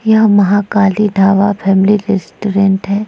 यहाँ Mahakali dhaba family restaurant है।